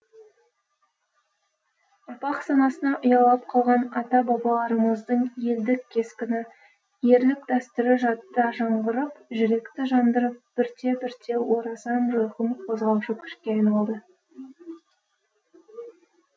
ұрпақ санасына ұялап қалған ата бабаларымыздың елдік кескіні ерлік дәстүрі жадта жаңғырып жүректі жандырып бірте бірте орасан жойқын қозғаушы күшке айналды